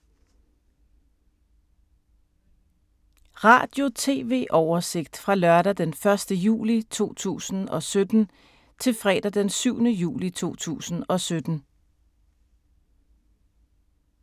Radio/TV oversigt fra lørdag d. 1. juli 2017 til fredag d. 7. juli 2017